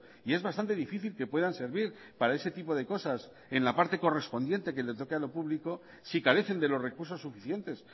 y es bastante difícil que puedan servir para este tipo de cosas en la parte correspondiente que le toque a lo público si carecen de los recursos suficientes